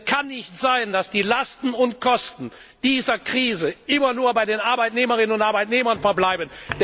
Denn es kann nicht sein, dass die Lasten und Kosten dieser Krise immer nur bei den Arbeitnehmerinnen und Arbeitnehmern verbleiben.